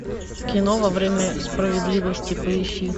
кино во время справедливости поищи